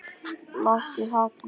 Láttu hafna þér.